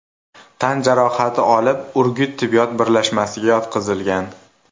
tan jarohati olib, Urgut tibbiyot birlashmasiga yotqizilgan.